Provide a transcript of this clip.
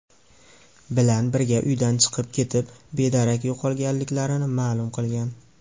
bilan birga uydan chiqib ketib, bedarak yo‘qolganliklarini ma’lum qilgan.